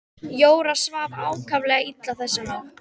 Jóra svaf ákaflega illa þessa nótt.